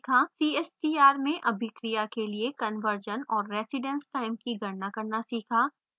cstr में अभिक्रिया के लिए conversion और residence time की गणना करना सीखा